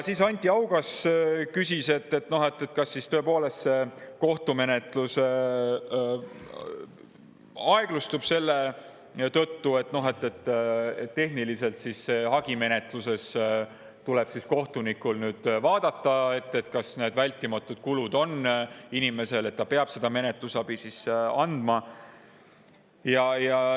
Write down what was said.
Siis küsis Anti Haugas, kas tõepoolest aeglustub kohtumenetlus selle tõttu, et tehniliselt tuleb hagimenetluses kohtunikul vaadata, kas inimesel on vältimatud kulud, kas ta peab seda menetlusabi andma.